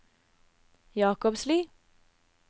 Jakobsli